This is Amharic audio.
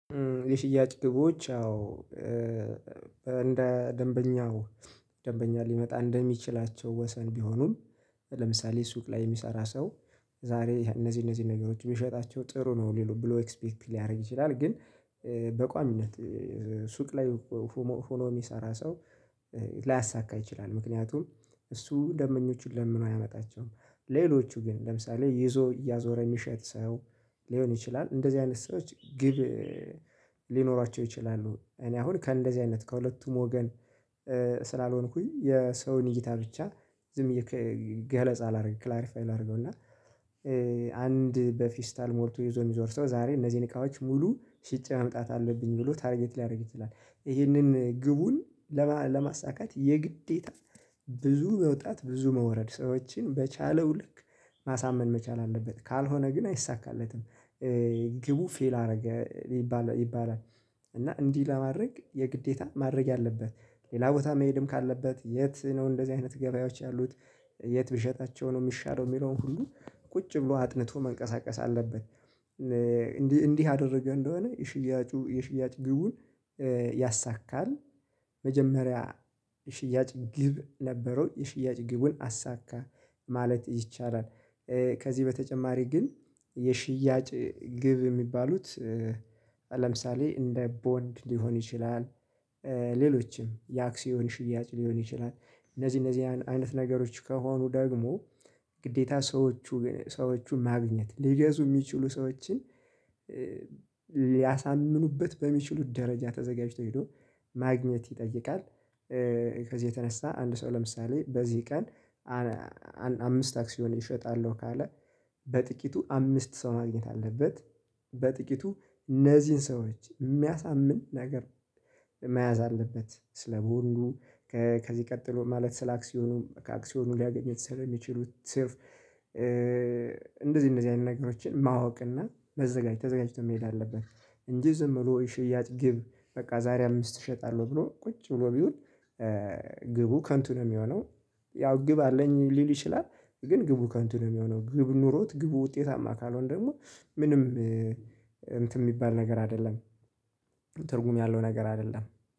የሽያጭ ግቦች አዎ እንደ ደንበኛው ደንበኛ ሊመጣ እንደሚችላቸው ወሰን ቢሆኑም ለምሳሌ ሱቅ ላይ የሚሰራ ሰው ዛሬ እነዚህ እነዚህ ነገሮች የሚሸጣቸው ጥሩ ነው። ሌላው ብሎ ኤክስፔክት ሊያደርግ ይችላል። ግን በቋሚነት ሱቅ ላይ ሆኖ የሚሰራ ሰው ላያሳካ ይችላል። ምክንያቱም እሱ ደንበኞችን ለምኖ አያመጣቸውም። ሌሎቹ ግን ለምሳሌ ይዞ እያዞረ የሚሸጥ ሰው ሊሆን ይችላል። እንደዚህ አይነት ሰዎች ግብ ሊኖራቸው ይችላሉ። እኔ አሁን ከእንደዚህ አይነት ከሁለቱም ወገን ስላልሆንኩኝ የሰውን እይታ ብቻ ዝም ብየ ገለጻ ላደርግ ክላሪፋይ ላድርገው። እና አንድ በፊስታል ሞልቶ ይዞ የሚዞር ሰው ዛሬ እነዚህን እቃዎች ሙሉ ሽጬ ማምጣት አለብኝ ብሎ ታርጌት ሊያደርግ ይችላል። ይህንን ግቡን ለማሳካት የግዴታ ብዙ መውጣት ብዙ መውረድ ሰዎችን በቻለው ልክ ማሳመን መቻል አለበት። ካልሆነ ግን አይሳካለትም። ግቡ ፌል አደረገ ይባላል ይባላል። እና እንዲህ ለማድረግ የግዴታ ማድረግ ያለበት ሌላ ቦታ መሄድም ካለበት የት ነው? እንደዚህ አይነት ገበያዎች ያሉት። የት ብሸጣቸው ነው የሚሻለው? የሚለውን ሁሉ ቁጭ ብሎ አጥንቶ መንቀሳቀስ አለበት። ያደረገ እንደሆነ የሽያጩ የሽያጭ ግቡን ያሳካል። መጀመሪያ ሽያጭ ግብ ነበረው የሽያጭ ግቡን አሳካ ማለት ይቻላል። ከዚህ በተጨማሪ ግን የሽያጭ ግብ የሚባሉት ለምሳሌ እንደ ቦንድ ሊሆን ይችላል። ሌሎችም የአክሲዮን ሽያጭ ሊሆን ይችላል። እነዚህ እነዚህ አይነት ነገሮች ከሆኑ ደግሞ ግዴታ ሰዎቹ ሰዎቹን ማግኘት ሊገዙ የሚችሉ ሰዎችን ሊያሳምኑበት በሚችሉት ደረጃ ተዘጋጅቶ ሄዶ ማግኘት ይጠይቃል። ከዚህ የተነሳ አንድ ሰው ለምሳሌ በዚህ ቀን አምስት አክሲዮን እሸጣለሁ ካለ። በጥቂቱ አምስት ሰው ማግኘት አለበት። በጥቂቱ እነዚህን ሰዎች የሚያሳምን ነገር መያዝ አለበት። ስለ ቦንዱ ከዚህ ቀጥሎ ማለት ስለ አክሲዮኑ ከአክሲዮኑ ሊያገኘው ይሰራል የሚችሉት ስር። እንደዚህ እንደዚህ አይነት ነገሮችን ማወቅ እና መዘጋጅት ተዘጋጅቶ መሄድ አለብህ። እንጂ ዝም ብሎ ሽያጭ ግብ በቃ ዛሬ አምስት እሸጣለሁ ብሎ ቁጭ ብሎ ቢውል ግቡ ከንቱ ነው የሚሆነው። ያው ግብ አለኝ ሊል ይችላል። ግን ግቡ ከንቱ ነው የሚሆነው ግብ ኖሮት ግቡ ውጤታማ ካልሆነ ደግሞ ምንም እንትን የሚባል ነገር አይደለም። ትርጉም ያለው ነገር አይደለም